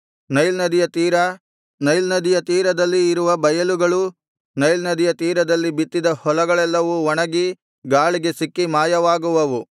Nile ನದಿಯ ತೀರ Nile ನದಿಯ ತೀರದಲ್ಲಿ ಇರುವ ಬಯಲುಗಳು ನೈಲ್ ನದಿಯ ತೀರದಲ್ಲಿ ಬಿತ್ತಿದ ಹೊಲಗಳೆಲ್ಲವೂ ಒಣಗಿ ಗಾಳಿಗೆ ಸಿಕ್ಕಿ ಮಾಯವಾಗುವವು